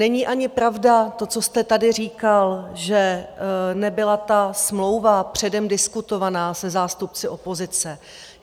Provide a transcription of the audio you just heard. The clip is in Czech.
Není ani pravda to, co jste tady říkal, že nebyla ta smlouva předem diskutovaná se zástupci opozice.